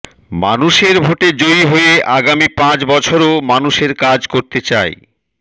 মানুষের ভোটে জয়ী হয়ে আগামী পাঁচ বছরও মানুষের কাজ করতে চাই